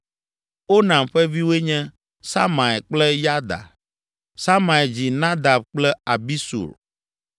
Onam ƒe viwoe nye Samai kple Yada. Samai dzi Nadab kple Abisur.